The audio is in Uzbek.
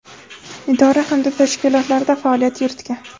idora hamda tashkilotlarda faoliyat yuritgan.